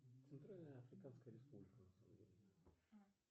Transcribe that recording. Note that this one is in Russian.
центральная африканская республика